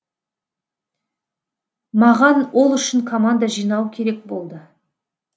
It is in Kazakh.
маған ол үшін команда жинау керек болды